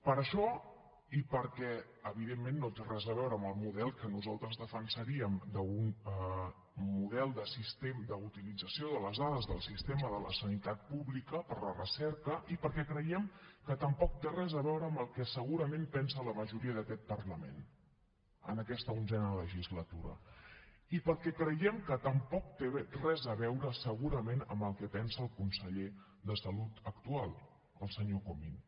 per això i perquè evidentment no té res a veure amb el model que nosaltres defensaríem d’un model d’utilització de les dades del sistema de la sanitat pública per a la recerca i perquè creiem que tampoc té res a veure amb el que segurament pensa la majoria d’aquest parlament en aquesta onzena legislatura i perquè creiem que tampoc té res a veure segurament amb el que pensa el conseller de salut actual el senyor comín